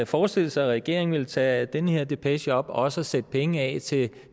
forestille sig at regeringen ville tage den her depeche op og også sætte penge af til